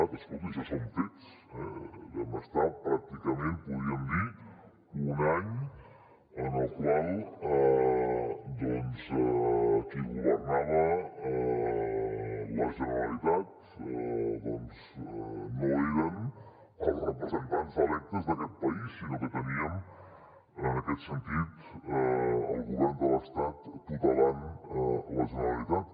vam estar pràcticament en podríem dir un any en el qual qui governava la generalitat no eren els representants electes d’aquest país sinó que teníem en aquest sentit el govern de l’estat tutelant la generalitat